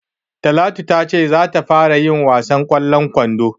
Talatu ta ce za ta fara yin wasan ƙwallon kwando.